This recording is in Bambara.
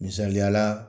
Misaliyala